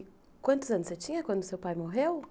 E quantos anos você tinha quando seu pai morreu?